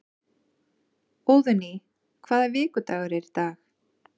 Óðný, hvaða vikudagur er í dag?